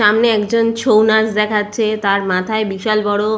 সামনে একজন ছৌ নাচ দেখাচ্ছে তার মাথায় বিশাল বড়--